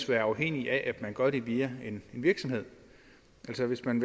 være afhængig af at man gør det via en virksomhed altså hvis man